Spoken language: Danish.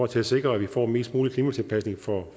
til at sikre at vi får mest mulig klimatilpasning for